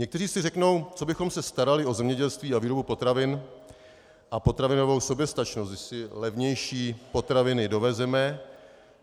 Někteří si řeknou: Co bychom se starali o zemědělství a výrobu potravin a potravinovou soběstačnost, když si levnější potraviny dovezeme?